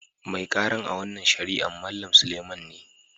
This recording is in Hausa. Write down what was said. Mai karan a' wanan shari'an Mallam Suleiman ne.